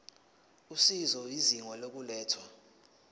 usizo izinga lokulethwa